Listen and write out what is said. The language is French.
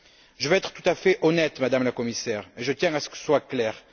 Je veux être tout à fait honnête, Madame la Commissaire, et je tiens à ce que ce soit clair.